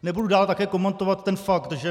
Nebudu dál také komentovat ten fakt, že